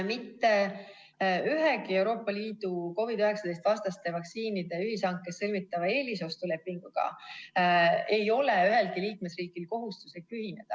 Mitte ühegi Euroopa Liidu COVID-19 vastaste vaktsiinide ühishankes sõlmitava eelostulepinguga ei ole ühelgi liikmesriigil kohustuslik ühineda.